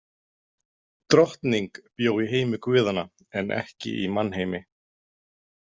Drottning bjó í heimi guðanna en ekki í mannheimi.